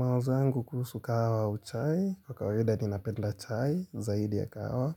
Mawazo yangu kuhusu kahawa au chai, kwa kawaida ni napenda chai zaidi ya kahawa